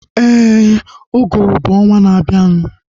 Éè, uguru bụ ọnwaa na abianu